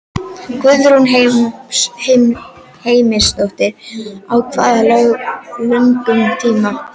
Guðrún Heimisdóttir: Á hvað löngum tíma?